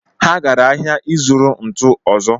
Ha gara ahịa ịzụrụ ntu ọzọ